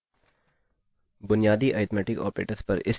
बुनियादी arithmetic operators पर इस ट्यूटोरियल में आपका स्वागत है